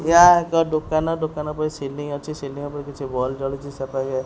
ୟା ଏକ ଦୋକାନ ଦୋକାନ ଉପରେ ସିଲିଂ ଅଛି ସିଲିଂ ଉପରେ କିଛି ବଲ୍ ଜଳୁଚି ସେ ପାଖେ --